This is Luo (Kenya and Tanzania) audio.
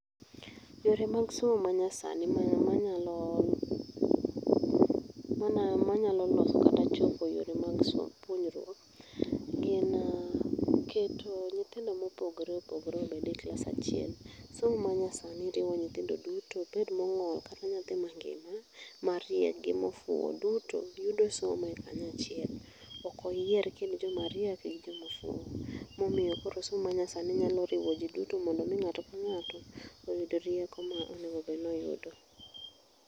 Yore mag somo manyasani manyalo ,manyalo loso kata chopo yore mag somo, puonjruok gin keto nyithindo mopogore opogore obed e klas achiel. Somo manyasani rriwo nyithindo duto, obed mong'ol kata nyathi mangima ,mariek gi mofuo duto yudo somo e kanyo achiel. Ok oyier ekind joma riek gi joma ofuo. Momiyo koro somo manyasani nyalo riwo jii duto mondo mi ng'ato ka ng'ato oyud rieko ma onego obed ni oyudo